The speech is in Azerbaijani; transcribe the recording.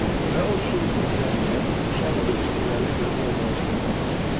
Və o şüursuz cəmiyyət uşağı öz fikirlərinə görə formalaşdırmağa başlayır.